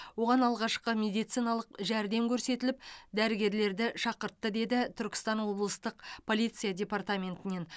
оған алғашқы медициналық жәрдем көрсетіліп дәрігерлерді шақыртты деді түркістан облыстық полиция департаментінен